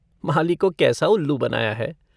माली को कैसा उल्लू बनाया है।